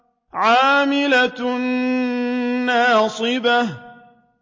عَامِلَةٌ نَّاصِبَةٌ